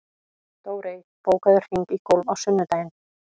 Dórey, bókaðu hring í golf á sunnudaginn.